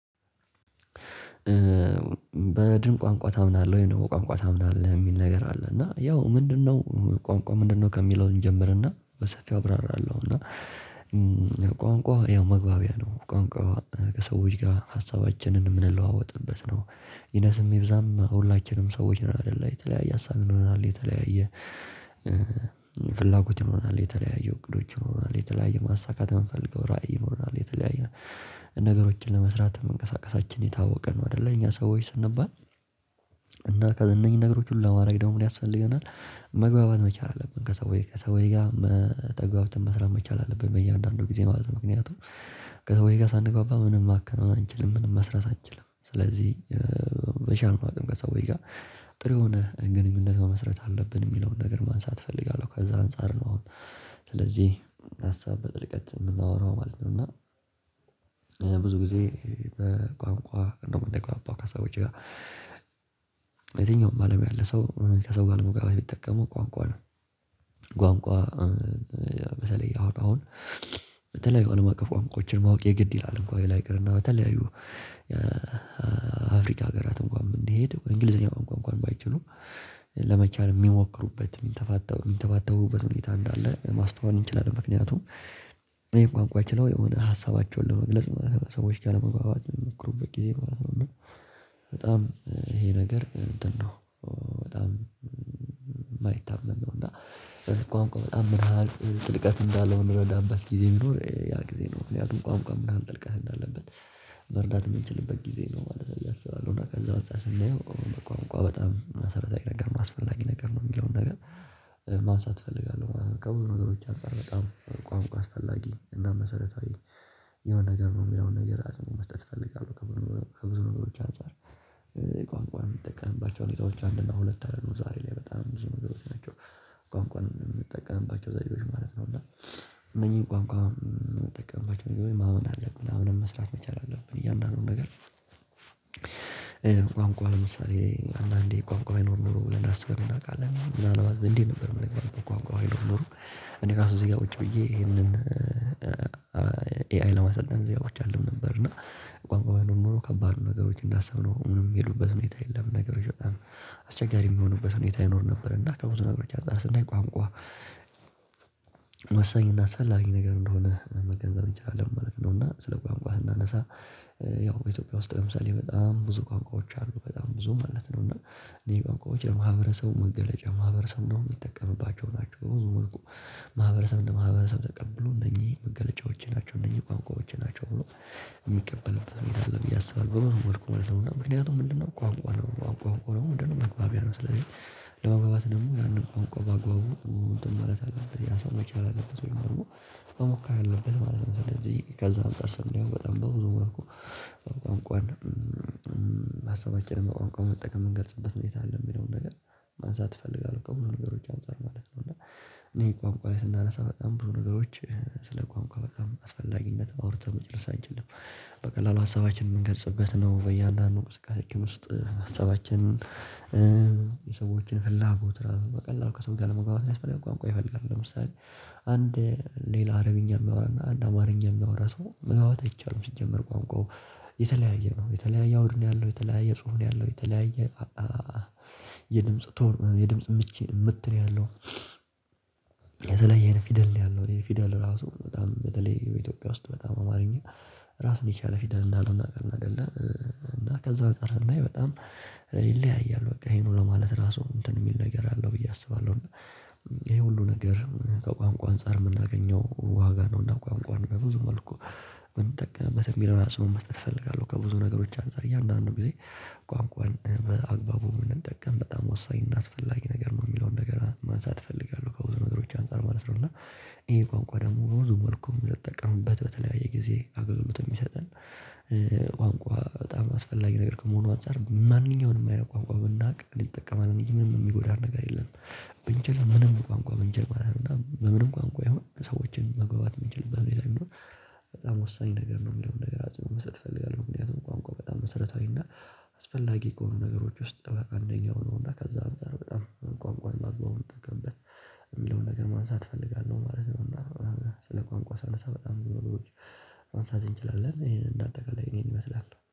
በድን ቋንቋ ታምናለህ ወይ ነው ቋንቋ ታምናለህ የሚል ነገር አለ። እና ያው ምንድነው ቋንቋ ምንድነው? ከሚለው እንጀምርና በሰፊው አብራራለሁና። ቋንቋ ያው መግባቢያ ነው ቋንቋ ከሰዎች ጋር ሀሳባችንን የምንለዋወጥበት ነው። ይነስም ይብዛም ሁላችንም ሰዎች ነን አይደለ የተለያየ ሀሳብ ይኖረናል የተለያየ ፍላጎት ይኖረናል የተለያየ እቅዶች ይኖራሉ የተለያዩ ማሳካት የምፈልገው ራዕይ ይኖረናል የተለያዩ ነገሮችን ለመስራት መንቀሳቀሳችን የታወቀ ነው አይደለ እኛ ሰዎች ስንባል። እና እነኚህን ነገሮች ሁሉ ለማድረግ ደግሞ ምን ያስፈልገናል? መግባባት መቻል አለብን ከሰውች ከሰውች ጋር መተግባባትን መስራት መቻል አለብን በእያንዳንዱ ጊዜ ማለት ነው። ምክንያቱም ከሰውዬ ጋር ሳንግባባ ምንም ማከናወን አንችልም ምንም መስራት አንችልም። ስለዚህ በሻልነው አቅም ከሰዎች ጋር ጥሩ የሆነ ግንኙነት መመስረት አለብን የሚለውን ነገር ማንሳት እፈልጋለሁ ከዛ አንፃር ነው። እነዚህ ሀሳብ በጥልቀት የምናወራው ማለት ነው። እና ብዙ ጊዜ በቋንቋ እንደውም ነው እምንግባባው ከሰዎች ጋር። የትኛውም አለም ያለ ሰው ከሰው ጋር ለመግባት ቢጠቀመው ቋንቋ ነው። ቋንቋ መሰለኝ አሁን በተለይ አለም አቀፍ ቋንቋዎችን ማወቅ የግድ ይላል እንኳን በተለያዩ አፍሪካ ሀገራት እንኳን እንዲሄድ እንግሊዘኛ እንኳን ባይችሉም ለመቻል የሚሞክሩበት የሚተፋ የሚንተባተቡበት ሁኔታ እንዳለ ማስተዋል እንችላለን። ምክንያቱም የቋንቋ አይችልም የሆነ ሀሳባቸውን ለመግለጽ ማለት ነው። ሰዎች ካለመግባባት መክሩበት በጣም ይሄ ነገር እንትን ነው። በጣም የማይታመን ነው። እና ቋንቋ በጣም ምን ሀሳብ ጥልቀት እንዳለው የምንረዳበት ጊዜ ይኑር ያ ጊዜ ነው ምክንያቱም ቋም ቋም ምናምን ጥልቀህ እንዳለበት መርዳት የምንችልበት ጊዜ ነው ማለት ነው። አስባለሁ እና እንደዛ አንፃር ስናየው ቋንቋ በጣም መሰረታዊ ነገር አስፈላጊ ነገር ነው የሚለውን ነገር ማንሳት እፈልጋለሁ። በቃ ከብዙ ነገሮች አንፃር በጣም ቋንቋ አስፈላጊ እና መሰረታዊ የሆነ ነገር ነው የሚለውን ነገር አጸንኦት መስጠት እፈልጋለሁ ከብዙ ነገሮች አንፃር። የቋንቋ የምትጠቀምባቸው ሁኔታዎች አንድ እና ሁለት አለ ነው ዛሬ ላይ በጣም ብዙ ነገሮች ናቸው። ቋንቋን የምትጠቀምባቸው ዘዴዎች ነው እና እነዚህን ቋንቋ አምነንባቸው ማመን አለብን ምናምን መስራት መቻል አለብን። እያንዳንዱን ነገር ቋንቋ ለምሳሌ አንዳንዴ ቋንቋ ይኖር ኖሮ ብለን ራሱ አስበን እናውቃለን ምናልባት እንዴት ነበር የምነግርህ ቋንቋው ባይኖር ኖሮ። እኔ ራሱ እዚህ ጋር ቁጪ ብዬ ይሄንን ኤአይ ለማሰልጠን እዚጋ ቁጭ አልልም ነበር። እና ቋንቋው የሆነ ኖሮ ከባድ ነገሮች እንዳሰብነው ምንም የሚሉበት ሁኔታ የለም። ነገሮች በጣም አስቸጋሪ የሚሆኑበት ሁኔታ ይኖር ነበር። እና ከብዙ ነገሮች አንጻጻር ስናይቋንቋ ወሳኝ እና አስፈላጊ ነገር እንደሆነ መገንዘብ እንችላለን ማለት ነው። እና ስለ ቋንቋ ስናነሳ ያው ኢትዮጵያ ውስጥ ለምሳሌ በጣም ብዙ ቋንቋዎች አሉ በጣም ብዙ ማለት ነው። እና እንደዚህ ቋንቋዎች የማህበረሰቡ መገለጫ ማህበረሰብ ነው የሚጠቀምባቸው ናቸው። በውዝውር ማህበረሰብ እንደ ማህበረሰብ ተቀብሎ እነኚህ መገለጫዎቼ ናቸው እነኚህ ቋንቋዎቼ ናቸው ብሎ የሚቀበልበት ቤት አለ ብዬ አስባለሁ። በምን መልኩ ምክንያቱም ምንድነው ቋንቋ ነው ቋንቋ ነው ምንድነው? መግባቢያ ነው። ስለዚህ ለመግባባት ደግሞ ያንን ቆንቆ በአግባቡ መረጥ አለብን ያ ሰው መቻል አለበት ወይም ደግሞ መሞከር አለበት ማለት ነው። እንደዚህ ከዛ አንፃር ስንል በጣም በብዙ መልኩ ቋንቋ ሀሳባችንን በቆርቆር መጠቀም እንገልጽበት መጠቀም አለብኝ የሚለውን ነገር ማንሳት እፈልጋለሁ። ከሆነ ነገሮች አንፃር ማለት ነው። እና እነኝህ ቋምቋ ላይ ስናነሳ በጣም ብዙ ነገሮች ስለ ቋንቋ በጣም አስፈላጊነት አውርተን መጨረስ አንችልም። በቀላሉ ሀሳባችንን የምንገልጽበት ነው በያንዳንዱ ስቃዮች ውስጥ ሀሳባችንን የሰዎችን ፍላጎት በቀላሉ ከሰው ጋር ለመግባባት ያስፈልጋል ቋንቋ ይፈልጋል። ለምሳሌ አንድ ሌላ አረብኛ ሚያወራና አንድ አማርኛ ሚያወራ ሰው መግባባትት አይቻልም። ሲጀመር ቋንቋው የተለያየ ነው የተለያየ አውድ ነው። ያለው የተለያየ ጽሁን ያለው የተለያየ የድምጽ ቶም የድምጽ ምቼ ምት ያለው የተለየ አይነት ፊደል ነው። ያለው እኔ ፊደል ራሱ በጣም በተለይ ኢትዮጵያ ውስጥ በጣም አማርኛ ራሱን የቻለ ፊደል እንዳልሆነ አይደለም። እና ከዛ በተረፈ ወላሂ በጣም ይለያያል በቃ ይሄኑ ለማለት ራሱ እንትን የሚል ነገር አለው ብዬ አስባለሁ። ይሄ ሁሉ ነገር ከቋንቋ አንፃር የምናገኘው ዋጋ ነው። እና ቋንቋን በብዙ መልኩ የምንጠቅምበት ተጠቅመህበት የሚለውን ራሱን መስጠት እፈልጋለሁ። ከብዙ ነገሮች አንፃር እያንዳንዱን ጊዜ ቋንቋን በአግባቡ ብንጠቀም በጣም ወሳኝ እናስፈላጊ ነገር ነው። የሚለውን ነገር ማንሳት እፈልጋለሁ ከብዙ ነገሮች አንፃር ማለት ነው። እና ይሄ ቋንቋ ደግሞ በብዙ መልኩ ልንጠቀምበት በተለያየ ጊዜ አገልግሎት የሚሰጠን ቋንቋ ለምሳሌ አንዳንዴ ቋንቋ ይኖር ኖሮ ብለን ራሱ በምን እናውቃለን ምናልባት እንዴት ነበር የምነግርህ በቋንቋው አይኖርም እኔ ራሱ እዚህ ጋር ውጪ ብዬ ይሄንን ኤአይ ለማሰልጠን ዜጋዎች አለም ነበር እና ቋንቋው የሆነ ኖሮ ከባድ ነገሮች እንዳሰብነው ምንም የሚሉበት ሁኔታ የለም። ነገሮች በጣም ቋንቋ ለምሳሌ አንዳንዴ ቋንቋ ይኖር ኖሮ ብለን ራሱ በምን እናውቃለን ምናልባት እንዴት ነበር የምነግርህ በቋንቋው አይኖርም። እኔ ራሱ እዚህ ጋር ውጪ ብዬ ይሄንን ኤአይ ለማሰልጠን ዜጋዎች አለም ነበር። እና ቋንቋው የሆነ ኖሮ ከባድ ነገሮች እንዳሰብነው ምንም የሚሉበት ሁኔታ የለም። ነገሮች በጣም እንችላለን ይሄንን እንደ አጠቃላይ እኔን ይመስላል